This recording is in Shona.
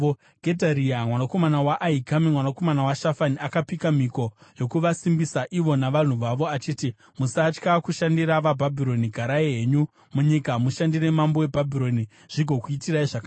Gedharia mwanakomana waAhikami, mwanakomana waShafani, akapika mhiko yokuvasimbisa ivo navanhu vavo achiti, “Musatya kushandira vaBhabhironi. Garai henyu munyika mushandire mambo weBhabhironi, zvigokuitirai zvakanaka.